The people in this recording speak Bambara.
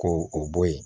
Ko o bɔ yen